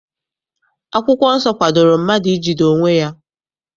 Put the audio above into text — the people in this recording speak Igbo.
Akwụkwọ nsọ kwadoro mmadụ ijide onwe ya.